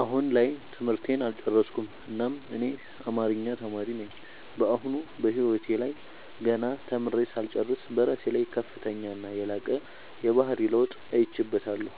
አሁን ላይ ትምህርቴን አልጨረስኩም እናም እኔ አማሪኛ ተማሪ ነኝ በአሁኑ በህይወቴ ላይ ገና ተምሬ ሳልጨርስ በራሴ ላይ ከፍተኛና የላቀ የባህሪ ለውጥ አይቼበታለው